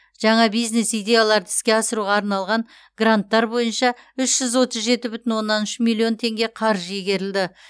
жаңа бизнес идеяларды іске асыруға арналған гранттар бойынша үш жүз отыз жеті бүтін оннан үш миллион теңге қаржы игерілді